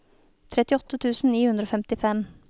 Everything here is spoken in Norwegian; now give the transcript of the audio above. trettiåtte tusen ni hundre og femtifem